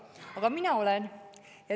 Aga mina olen.